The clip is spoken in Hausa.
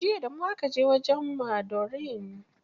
Jiya da mu aka je wajen maɗorin.